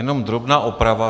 Jenom drobná oprava.